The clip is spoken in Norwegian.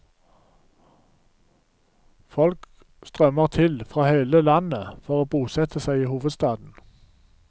Folk strømmer til fra hele landet for å bosette seg i hovedstaden.